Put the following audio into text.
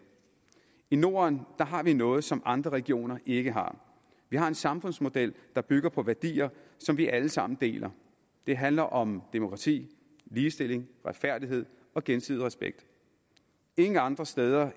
i norden har vi noget som andre regioner ikke har vi har en samfundsmodel der bygger på værdier som vi alle sammen deler det handler om demokrati ligestilling retfærdighed og gensidig respekt ingen andre steder